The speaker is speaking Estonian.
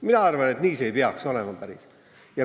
Mina arvan, et päris nii see ei peaks olema.